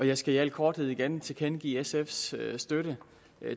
jeg skal i al korthed igen tilkendegive sfs støtte